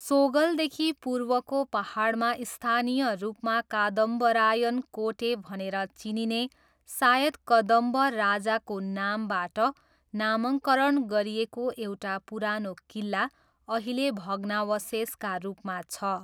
सोगलदेखि पूर्वको पाहाडमा स्थानीय रूपमा कादम्बरायन कोटे भनेर चिनिने सायद कदम्ब राजाको नामबाट नामाकरण गरिएको एउटा पुरानो किल्ला अहिले भग्नावशेषका रूपमा छ।